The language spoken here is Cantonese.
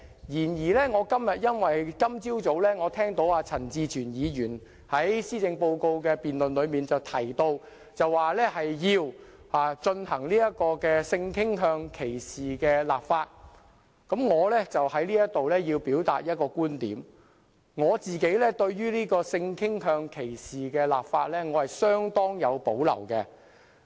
然而，今天早上我聽到陳志全議員在施政報告辯論中提到，要就性傾向歧視立法，我便要在此表達一個觀點：我自己對性傾向歧視立法相當有保留。